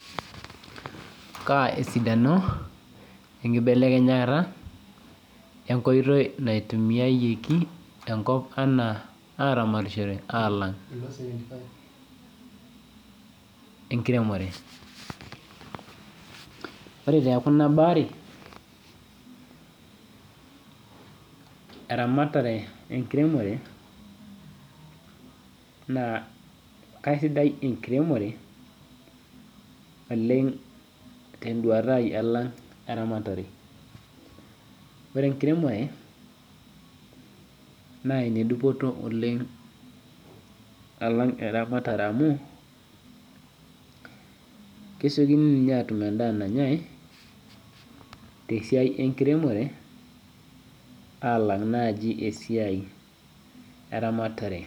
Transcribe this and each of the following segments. ore te kuna baa are te ramatare oo enkiremore naa kaisidai enkiremore oleng te nduata aai alang eramatare ore enkiremore naa enedupoto oleng alang eramatare amu kesiokini naaji atum endaa nanyae te siai enkiremore alang esiai eramatare.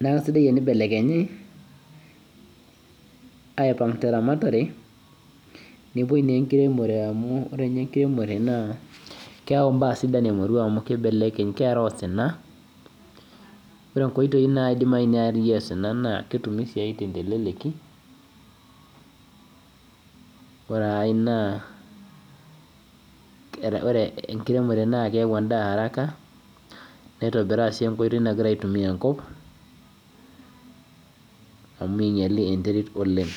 Niaku sidai teneibelekenyi aipang te ramatare nepuoi naa enkiremore amu ore ninye enkiremore naa keyau mbaa sidan agoru amu kerraa osina ore nkoitoi naidamuyu nearikie osina naa ketumi siaitin te leleki ore enkae naa enkiremore naa keyau endaa haraka neitobiraa sii enkoitoi nagirae aitumia enkop amu meinyali enterit oleng